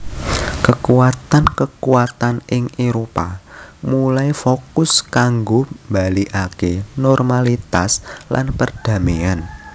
Kekuatan kekuatan ing Éropah mulai fokus kanggo balikaké normalitas lan perdaméan